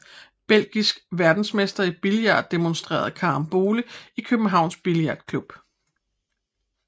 Belgisk verdensmester i billard demonsterer karambole i Københavns Billardklub